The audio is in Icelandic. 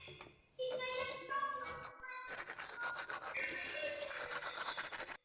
Lofaði þó að lokum að ég skyldi reyna.